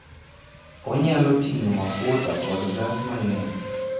Onyalo ting'o mafuta kod gas mang'eny.